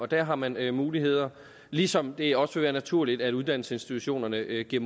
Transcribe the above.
der har man de muligheder ligesom det også vil være naturligt at uddannelsesinstitutionerne giver